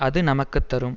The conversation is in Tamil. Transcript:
அது நமக்கு தரும்